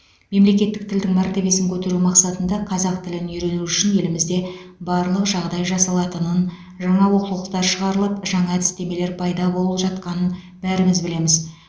мемлекеттік тілдің мәртебесін көтеру мақсатында қазақ тілін үйрену үшін елімізде барлық жағдай жасалатынын жаңа оқулықтар шығарылып жаңа әдістемелер пайда болып жатқанын бәріміз білеміз